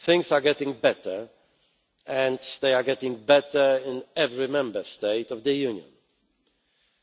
Things are getting better, and they are getting better in every Member State of the Union.